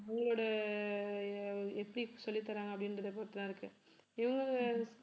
உங்களோட எ~ எப்படி சொல்லித்தர்றாங்க அப்படின்றதை பொறுத்துதான் இருக்கு இவங்க